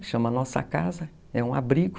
Que chama Nossa Casa, é um abrigo,